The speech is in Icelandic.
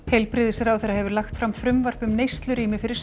heilbrigðisráðherra hefur lagt fram frumvarp um neyslurýma fyrir